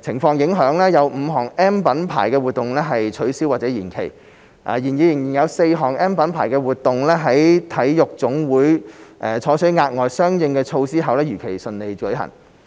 情況影響，有5項 "M" 品牌活動取消或延期；然而，仍有4項 "M" 品牌活動在體育總會採取額外相應措施後如期順利舉行。